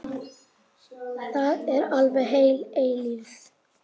Það er alveg heil eilífð.